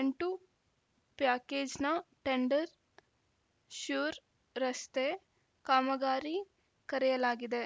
ಎಂಟು ಪ್ಯಾಕೇಜ್‌ನ ಟೆಂಡರ್‌ ಶ್ಯೂರ್‌ ರಸ್ತೆ ಕಾಮಗಾರಿ ಕರೆಯಲಾಗಿದೆ